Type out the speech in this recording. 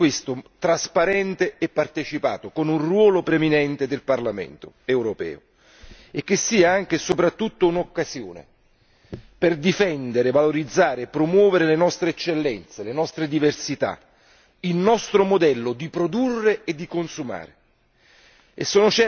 Un accordo che sia trasparente e partecipato, con un ruolo preminente del Parlamento europeo e che sia anche e soprattutto un'occasione per difendere, valorizzare e promuovere le nostre eccellenze, le nostre diversità, il nostro modello di produrre e di consumare.